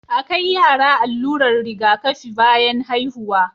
a kai yara allurar Riga kafi bayan haihuwa